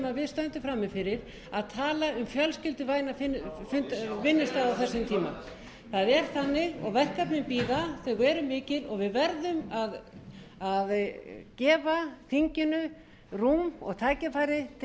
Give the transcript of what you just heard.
við stöndum frammi fyrir að tala um fjölskylduvæna vinnustaði á þessum tíma það er þannig og verkefnin bíða þau eru mikil og við verðum að gefa þinginu rúm og tækifæri til að